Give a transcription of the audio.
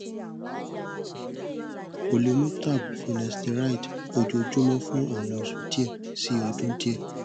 o le mu tab finesteride ojoojumọ fun awọn oṣu diẹ si ọdun diẹ